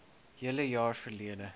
hele jaar verlede